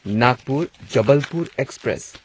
Nagpur Jabalpur express